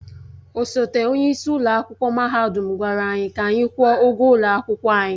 Osote onye isi ụlọ akwụkwọ mahadum gwara anyị ka anyị kwụọ ụgwọ ụlọ akwụkwọ anyị.